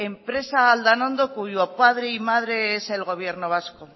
empresa aldanondo cuyo padre y madre es el gobierno vasco